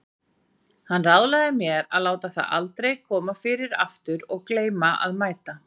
Hann ráðlagði mér að láta það aldrei koma fyrir aftur að gleyma að mæta.